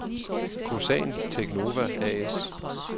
Kosan Teknova A/S